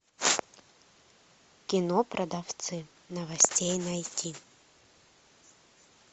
кино продавцы новостей найти